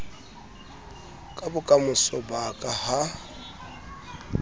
ka bokamoso ba ka ha